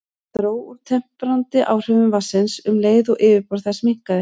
Það dró úr temprandi áhrifum vatnsins um leið og yfirborð þess minnkaði.